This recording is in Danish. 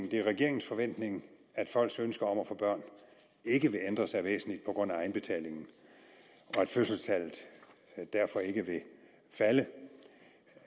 regeringens forventning at folks ønsker om at få børn ikke vil ændre sig væsentligt på grund af egenbetalingen og at fødselstallet derfor ikke vil falde